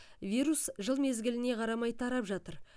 вирус жыл мезгіліне қарамай тарап жатыр